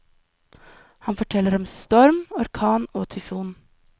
Han forteller om storm, orkan og tyfon.